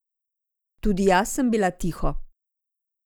Tudi jaz sem bila tiho.